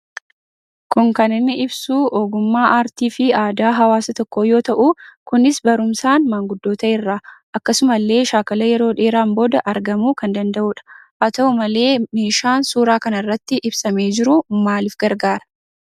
Kun kan inni ibsu ogummaa aartiifi aadaa hawaasa tokkoo yoo ta'u kunis barumsaan maanguddota irraa akkasumallee shaakalaa yeroo dheeraan booda argamuu kan danda'udha. Haa ta'u malee meeshaan suuraa kana irratti ibsamee jiru maaliif gargaara?